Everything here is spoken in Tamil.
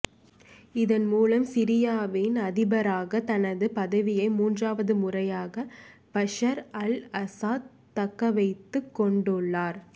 இதன் மூலம் சிரியாவின் அதிபராக தனது பதவியை மூன்றாவது முறையாக பஷர் அல் ஆசாத் தக்க வைத்துக் கொண்டுள்ளார்